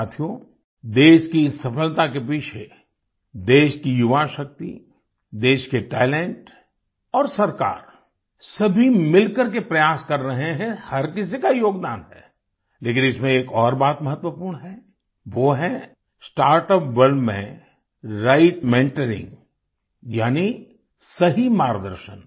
साथियो देश की इस सफलता के पीछे देश की युवाशक्ति देश के टैलेंट और सरकार सभी मिलकर के प्रयास कर रहे हैं हर किसी का योगदान है लेकिन इसमें एक और बात महत्वपूर्ण है वो है स्टार्टअप वर्ल्ड में राइट मेंटरिंग यानी सही मार्गदर्शन